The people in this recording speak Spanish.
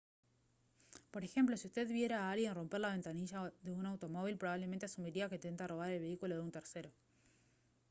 por ejemplo si usted viera a alguien romper la ventanilla de un automóvil probablemente asumiría que intenta robar el vehículo de un tercero